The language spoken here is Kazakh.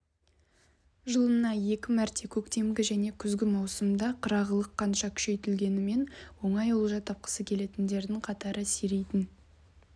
жылына екі мәрте көктемгі және күзгі маусымда қырағылық қанша күшейтілгенімен оңай олжа тапқысы келетіндердің қатары сирейтін